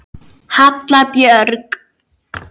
Halla Björg.